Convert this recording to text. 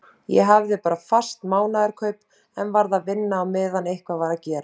Ég hafði bara fast mánaðarkaup en varð að vinna á meðan eitthvað var að gera.